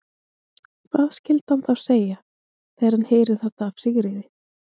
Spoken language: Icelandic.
Hvað skyldi hann þá segja, þegar hann heyrir þetta af Sigríði?